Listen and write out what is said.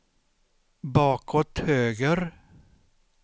bakåt höger